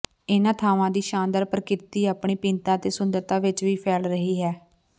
ਇਹਨਾਂ ਥਾਵਾਂ ਦੀ ਸ਼ਾਨਦਾਰ ਪ੍ਰਕਿਰਤੀ ਆਪਣੀ ਭਿੰਨਤਾ ਅਤੇ ਸੁੰਦਰਤਾ ਵਿਚ ਵੀ ਫੈਲ ਰਹੀ ਹੈ